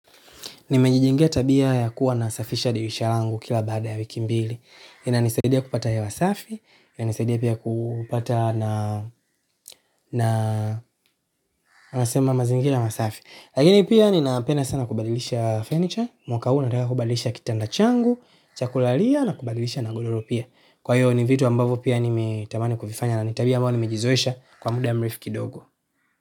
Nimejijengia tabia ya kuwa na safisha dirisha langu kila baada ya wiki mbili. Ina nisaidia kupata hewa wasafi, ina nisaidia pia kupata na nasema mazingira masafi. Lakini pia nina penda sana kubadilisha furniture, mwaka huu nataka kubadilisha kitanda changu, cha kulalia na kubadilisha na godoro pia. Kwa hiyo ni vitu ambavyo pia nimetamani kuvifanya na ni tabia ambao nimejizoesha kwa muda mrefu kidogo.